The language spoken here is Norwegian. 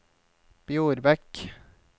Bjorbekk